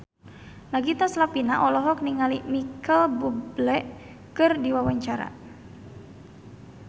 Nagita Slavina olohok ningali Micheal Bubble keur diwawancara